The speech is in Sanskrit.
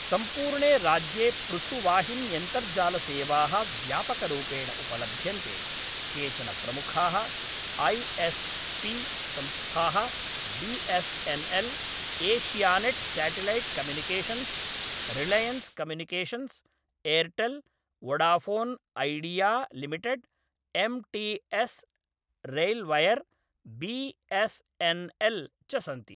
सम्पूर्णे राज्ये पृथुवाहिन्यन्तर्जालसेवाः व्यापकरूपेण उपलभ्यन्ते; केचन प्रमुखाः ऐ एस् पि संस्थाः B S N L, Asianet satellite communications, Reliance communications, Airtel, Vodafone Idea limited, M T S, RailWire, B, S N L च सन्ति।